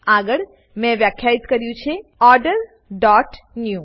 આગળ મેં વ્યાખ્યિત કર્યું છે ઓર્ડર ડોટ ન્યૂ